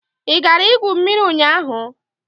Ị gara igwu mmiri ụnyahụ?